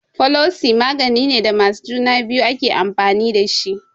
Folosi maganine da masu juna biyu ake amfani dashi